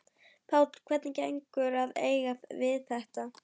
Páll: Hvernig gengur að eiga við þetta?